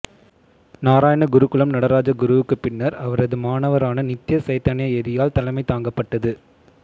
நாராயணகுருகுலம் நடராஜகுருவுக்குப் பின்னர் அவரது மாணவரான நித்ய சைதன்ய யதியால் தலைமைதாங்கப்பட்டது